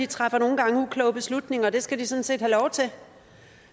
træffer nogle gange ukloge beslutninger og det skal de sådan set have lov til